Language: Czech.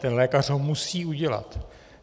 Ten lékař ho musí udělat.